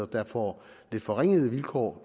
der får lidt forringede vilkår